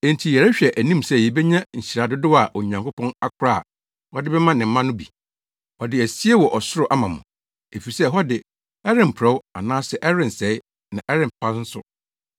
enti yɛrehwɛ anim sɛ yebenya nhyira dodow a Onyankopɔn akora a ɔde bɛma ne mma no bi. Ɔde asie wɔ ɔsoro ama mo, efisɛ hɔ de, ɛremporɔw anaa ɛrensɛe na ɛrempa nso.